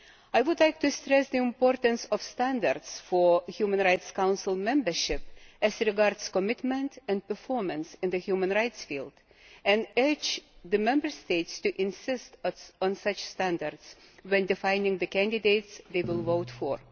I would like to stress the importance of standards for Human Rights Council Membership as regards commitment and performance in the human rights field, and I urge the Member States to insist on such standards when defining the candidates they will vote for.